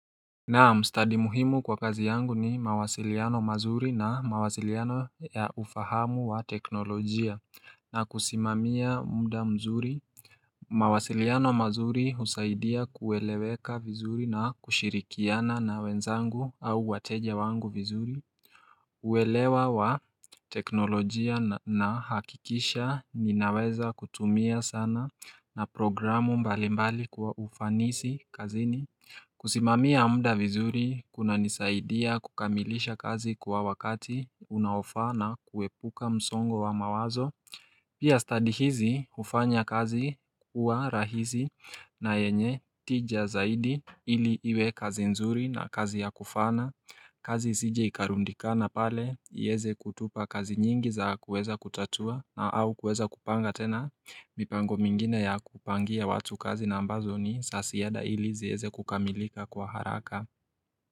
Naam stadi muhimu kwa kazi yangu ni mawasiliano mazuri na mawasiliano ya ufahamu wa teknolojia na kusimamia muda mzuri mawasiliano mazuri husaidia kueleweka vizuri na kushirikiana na wenzangu au wateja wangu vizuri uwelewa wa teknolojia na hakikisha ninaweza kutumia sana na programu mbali mbali kwa ufanisi kazini kusimamia muda vizuri kuna nisaidia kukamilisha kazi kwa wakati unaofa na kuepuka msongo wa mawazo Pia study hizi hufanya kazi kuwa rahisi na yenye tija zaidi ili iwe kazi nzuri na kazi ya kufaana kazi isije ikarundikana pale iweze kutupa kazi nyingi za kueza kutatua na au kueza kupanga tena mipango mingine ya kupangia watu kazi na ambazo ni za ziada ili zieze kukamilika kwa haraka.